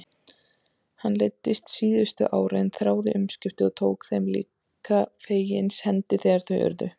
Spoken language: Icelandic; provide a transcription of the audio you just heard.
Henni leiddist síðustu árin, þráði umskiptin og tók þeim líka fegins hendi þegar þau urðu.